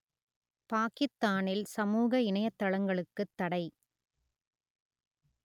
பாக்கித்தானில் சமூக இணையதளங்களுக்குத் தடை